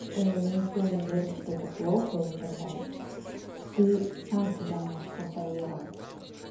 никто не говорит что это плохо или так далее ты сам себя можешь контролировать